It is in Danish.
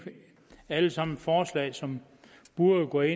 alle sammen forslag som burde